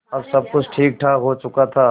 अब सब कुछ ठीकठाक हो चुका था